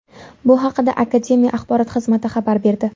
Bu haqida akademiya axborot xizmati xabar berdi .